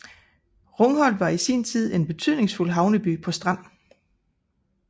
Rungholt var var i sin tid en betydningsfuld havneby på Strand